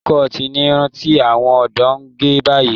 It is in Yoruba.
Low-cut ni irun tí àwọn ọ̀dọ́ ń gẹ̀ báyìí